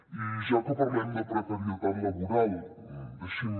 i ja que parlem de precarietat laboral deixi’m